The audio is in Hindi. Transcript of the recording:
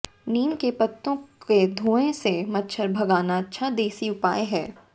नीम के पत्तो के धुएं से मच्छर भगाना अच्छा देसी उपाय है